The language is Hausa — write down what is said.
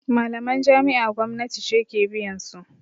Malaman jami'a gwamnati ce ke biyansu